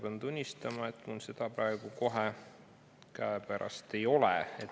Pean tunnistama, et mul seda praegu kohe käepärast ei ole.